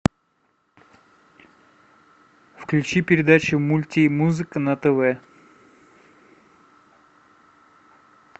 включи передачу мульт и музыка на тв